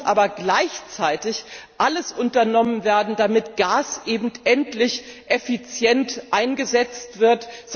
Es muss aber gleichzeitig alles unternommen werden, damit Gas endlich effizient eingesetzt